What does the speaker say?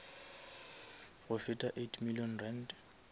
go feta eight million rand